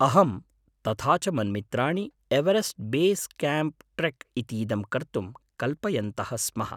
अहं तथा च मन्मित्राणि एवेरेस्ट् बेस् कैम्प् ट्रेक् इतीदं कर्तुं कल्पयन्तः स्मः।